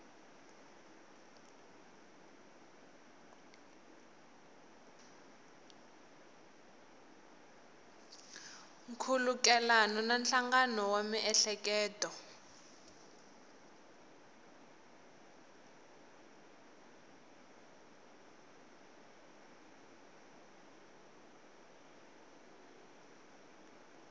nkhulukelano na nhlangano wa miehleketo